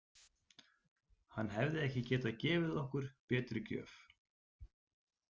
Hann hefði ekki getað gefið okkur betri gjöf.